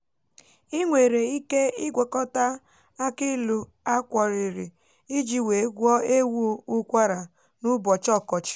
i nwere ike ịgwokọta akilu akworiri ịjì wee gwọ ewu ụkwara n'ubochi ọkọchi